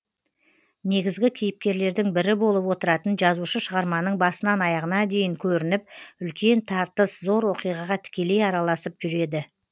негізгі кейіпкерлердің бірі болып отыратын жазушы шығарманың басынан аяғына дейін көрініп үлкен тартыс зор оқиғаға тікелей араласып жүреді